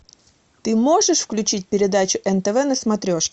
ты можешь включить передачу нтв на смотрешке